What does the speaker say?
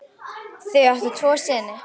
Þau áttu tvo syni.